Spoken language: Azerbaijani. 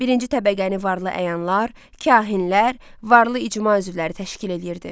Birinci təbəqəni varlı əyanlar, kahinlər, varlı icma üzvləri təşkil eləyirdi.